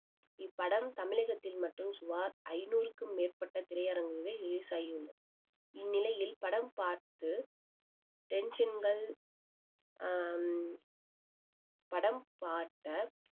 இப்படம் தமிழகத்தில் மட்டும் சுமார் ஐநூறுக்கும் மேற்பட்ட திரையரங்குகளில் release ஆகியுள்ளது இந்நிலையில் படம் பார்த்து டென்ஷன்கள் ஆஹ் படம் பார்த்த